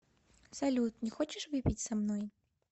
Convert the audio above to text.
салют не хочешь выпить со мной